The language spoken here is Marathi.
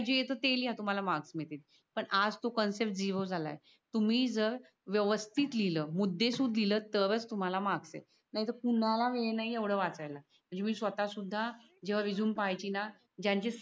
जे येत ते लिहा तुम्हाला मार्क्स मिळतील. पण आज तो कन्सेप्ट झिरो झालाय. तुम्ही जर व्यवस्थित लिहील मुददेसुत लिहील तर च तुम्हाला मार्क्स येत नाय तर कुणाला वेळ नाय एवड वाचाय ला